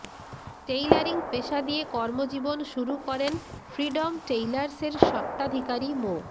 tailoring পেশা দিয়ে কর্মজীবন শুরু করেন ফ্রিডম টেইলার্সের স্বত্বাধিকারী মো